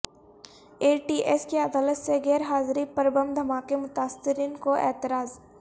اے T S کی عدالت سے غیر حاضری پر بم دھماکہ متاثرین کو اعتراض